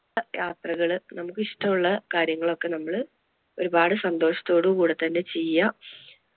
ആ യാത്രകള് നമുക്ക് ഇഷ്ടം ഉള്ള കാര്യങ്ങൾ ഒക്കെ നമ്മള് ഒരുപാട് സന്തോഷത്തോടു കൂടെ തന്നെ ചെയ്യാ.